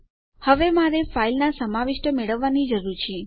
તેથી હવે મારે ફાઈલના સમાવિષ્ટો મેળવવાની જરૂર છે